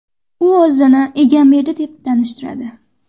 U o‘zini Egamberdi deb tanishtiradi.